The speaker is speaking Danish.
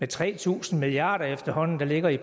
tre tusind milliard kr der efterhånden ligger i